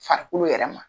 Farikolo yɛrɛ ma